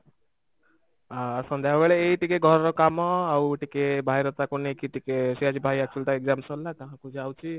ଅ ସନ୍ଧ୍ୟାବେଳେ ଏଇ ଟିକେ ଘରର କାମ ଆଉ ଟିକେ ଭାଇର ତାକୁ ନେଇକି ଟିକେ ସେ ଆଜି ଭାଇ actually ତା exam ସରିଲା ତ ତା ପାଖକୁ ଯାଉଛି